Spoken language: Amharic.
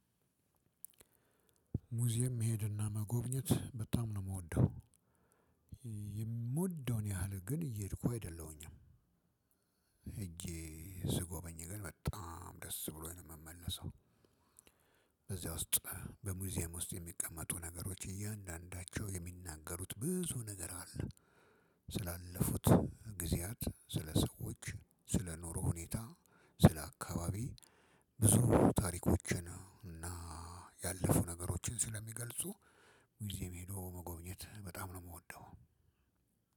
ሙዚየም መሄድና መጎብኘት በጣም ነው የምወደው የምወደውን ያህል ግን እየሄድኩ አይደለሁኝም እንጂ ስጎበኝ ግን በጣም ደስ ብሎኝ ነው የምመለሰው። በዚያ ውስጥ በሙዚየም ውስጥ የሚቀመጡ ነገሮች እያንዳንዳቸው የሚናገሩት ብዙ ነገር አለ። ስላለፉት ጊዜያት ስለ ሰዎች ስለ ኑሮ ሁኔታ ስለ አካባቢ ብዙ ታሪኮችን እና ያለፉ ነገሮችን ስለሚገልጹ ሙዚም ሄዶ መጎብኘት በጣም ነው የምወደው።